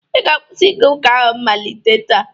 ị ga-akwụsị ịga ụka ahụ malite taa!